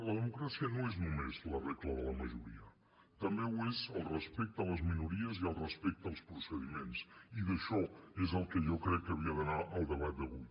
la democràcia no és només la regla de la majoria també ho és el respecte a les minories i el respecte als procediments i d’això és del que jo crec que havia d’anar el debat d’avui